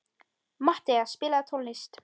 Matthea, spilaðu tónlist.